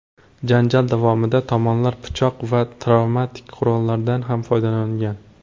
Janjal davomida tomonlar pichoq va travmatik qurollardan ham foydalangan.